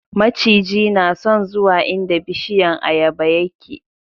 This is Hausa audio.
maciji na son zuwa inda bishiyan ayaba yake